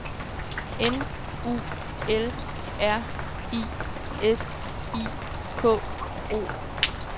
N U L R I S I K O